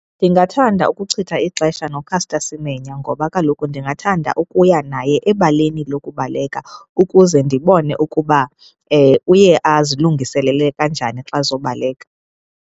Ndingathanda ukuchitha ixesha noCaster Semenya ngoba kaloku ndingathanda ukuya naye ebaleni lokubaleka ukuze ndibone ukuba uye azilungiselele kanjani xa ezobaleka.